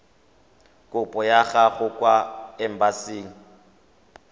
kopo ya gago kwa embasing